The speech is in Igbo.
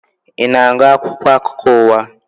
Ị na-agụ akwụkwọ akụkọ ụwa?